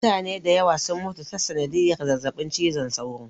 Mutane dayawa sun mutu ta sanadiyar zazzaɓin cizon sauro